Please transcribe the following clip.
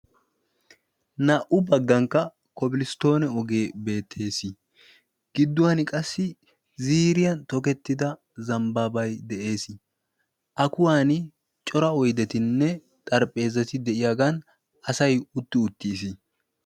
Naa77u baggankka kobilsttoone ogee beettees. gidduwan qassi ziriyan tokettida zambbaabay de7ees. A kuwan cora oyddettinne xarphpheezati de7iyaagan asay utti uttiis.